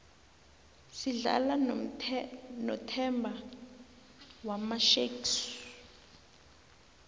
sidlala nothemba wamasharks